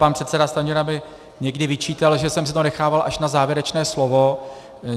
Pan předseda Stanjura mi někdy vyčítal, že jsem si to nechával až na závěrečné slovo.